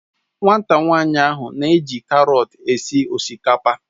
Nwata nwanyi ahu n'eji karọt esi osikapa.